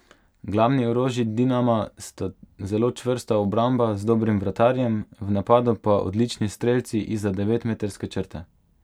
Glavni orožji Dinama sta zelo čvrsta obramba z dobrim vratarjem, v napadu pa odlični strelci izza devetmetrske črte.